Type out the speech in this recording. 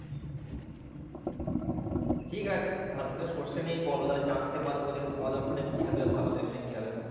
ঠিক আছে তাহলে just সর্ষে নিয়েই বলো তাহলে জানতে পারবো যে তোমাদের ওখানে কিভাবে হয় আমাদের এখানে কিভাবে হয়।